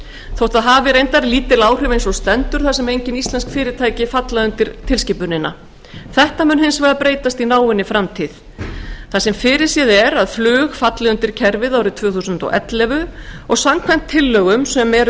þótt það hafi lítil áhrif eins og stendur þar sem engin íslensk fyrirtæki falla undir tilskipunina þetta mun breytast í náinni framtíð þar sem fyrirséð er að flug falli undir kerfið árið tvö þúsund og ellefu og samkvæmt tillögum sem nú eru